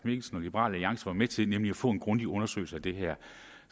mikkelsen og liberal alliance var med til nemlig at få en grundig undersøgelse af det her